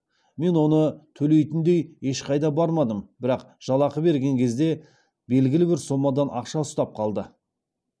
мен оны төлейтіндей ешқайда бармадым бірақ жалақы берген кезде белгілі бір соммадан ақша ұстап қалды